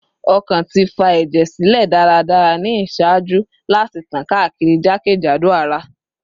Ọkàn ti fa ẹjẹ silẹ daradara ni iṣaaju lati tan kaakiri jakejado ara